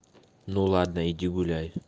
ну ладно иди гуляй